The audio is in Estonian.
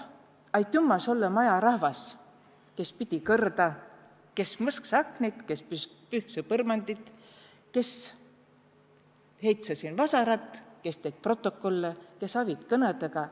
Aitümä sullõ, majarahvas, kes pidi kõrda, kes mõsksõ aknid, kes pühksõ põrmandid, kes heitse siin vasarat, kes tet protokolle, kes avit kõnõdõga.